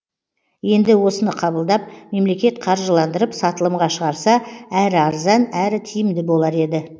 енді осыны қабылдап мемлекет қаржыландырып сатылымға шығарса әрі арзан әрі тиімді болар еді